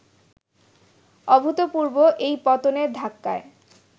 অভূতপূর্ব এই পতনের ধাক্কায়